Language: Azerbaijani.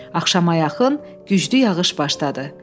Axşama yaxın güclü yağış başladı.